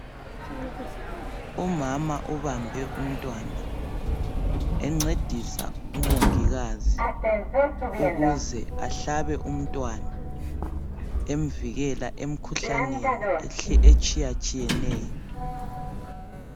Umama ubambe umntwana, encedisa umongikazi ukuze ahlabe umntwana emvikela emkhuhlaneni etshiyatshiyeneyo.